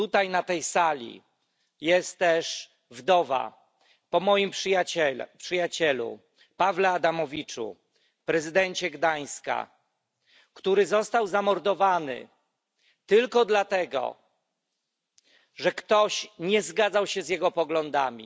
Na tej sali jest też wdowa po moim przyjacielu Pawle Adamowiczu, prezydencie Gdańska, który został zamordowany tylko dlatego, że ktoś nie zgadzał się z jego poglądami.